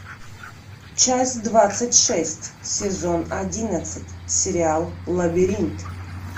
часть двадцать шесть сезон одиннадцать сериал лабиринт